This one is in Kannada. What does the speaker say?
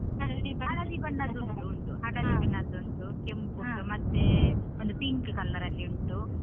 ಉಂಟು ಬಣ್ಣದ್ದು ಉಂಟು. ಕೆಂಪು ಮತ್ತೇ ಒಂದು pink colour ಅಲ್ಲಿ ಉಂಟು.